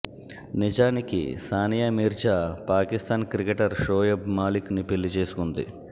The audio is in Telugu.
నిజానికి సానియా మీర్జా పాకిస్తాన్ క్రికెటర్ షోయబ్ మాలిక్ ని పెళ్లి చేసుకుంది